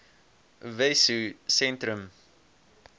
wessosentrum